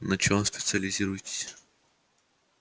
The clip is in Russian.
на чем специализируетесь